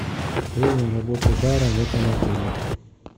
время работы бара в этом отеле